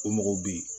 O mɔgɔw bɛ yen